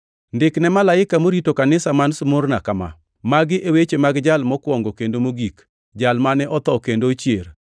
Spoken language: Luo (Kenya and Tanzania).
“Ndik ne malaika morito kanisa man Smurna kama: Magi e weche mag Jal Mokwongo kendo Mogik, Jal mane otho kendo ochier.